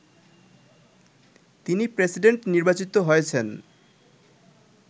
তিনি প্রেসিডেন্ট নির্বাচিত হয়েছেন